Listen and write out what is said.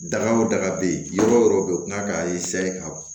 Daga o daga be yen yɔrɔ yɔrɔ bɛ kila ka ka bɔ